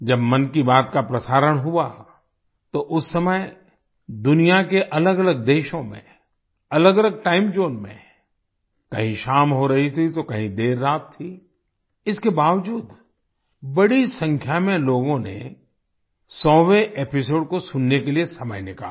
जब मन की बात का प्रसारण हुआ तो उस समय दुनिया के अलगअलग देशों में अलगअलग टाइम ज़ोन में कहीं शाम हो रही थी तो कहीं देर रात थी इसके बावजूद बड़ी संख्या में लोगों ने 100वें एपिसोड को सुनने के लिए समय निकाला